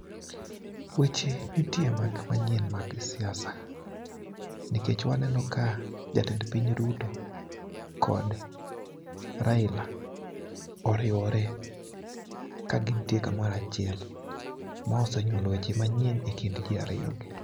weche nitie manyien mag siasa nikech waneno ka jatend Piny Ruto kod Raila oriwore ka gintie kamoro achiel. Ma osenywolo weche manyien e kind jii ariyo gi.